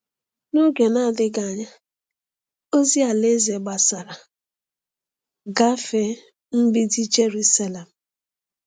N’oge na-adịghị anya, ozi Alaeze gbasara gafee mgbidi Jeruselem.